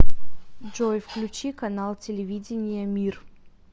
джой включи канал телевидения мир